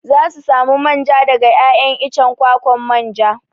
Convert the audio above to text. Za su samu manja daga 'ya'yan icen kwakwan manja.